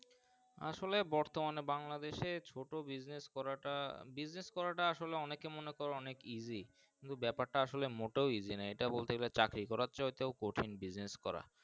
আসলে বর্তমানে বাংলাদেশের ছোট Business করা টা Business করা তা ওআসলে অনেকে মনে করেন অনেক Easy কিন্তু বাপের টা আসলে মোটেও Easy নয় এটা বলতে গেলে চাকরি করার চেয়ে হয় তো কঠিন Business করা।